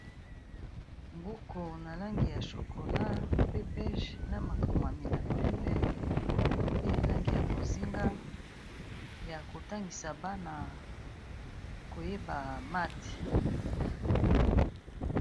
Buku na langi ya chocolat, pe bege, na makomami na pembe, pe langi ya bozinga, ya kotangisa bana koyeba math.